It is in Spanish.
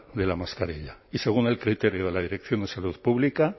de la mascarilla y según el criterio de la dirección de salud pública